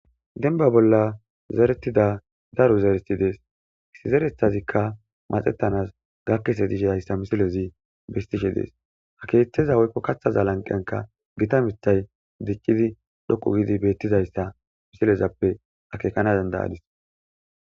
Denba bolla zeretida daru zereti dees isi zerethazikka maxettanas gakkese dishidayssa misilezi bestishe dees hakeeththeza woykko kathaza lanqenka gita mithay diccidi dhoqu gidi beettizayssa misilezappe akekana dandayadis.